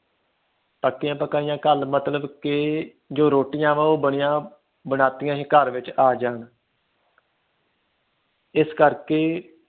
ਪੱਕੀਆਂ ਪਕਾਈਆਂ ਘਲ ਮਤਲਬ ਕਿ ਜੋ ਰੋਟੀਆਂ ਨੇ ਉਹ ਬਣੀਆਂ ਬਨਾਈਈਆਂ ਹੀ ਘਰ ਵਿਚ ਆ ਜਾਣ ਜਿਸ ਕਰਕੇ